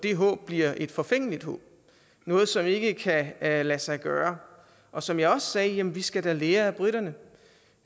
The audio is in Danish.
det håb bliver et forfængeligt håb noget som ikke kan lade lade sig gøre og som jeg også sagde jamen vi skal da lære af briterne